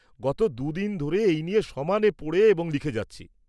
গত দুদিন ধরে এই নিয়ে সমানে পড়ে এবং লিখে যাচ্ছি।